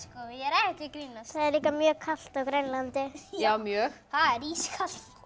ég er ekki að grínast það er líka mjög kalt á Grænlandi já mjög það er ískalt